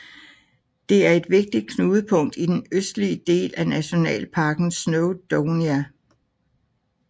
Det er et vigtigt knudepunkt i den østlige del af nationalparken Snowdonia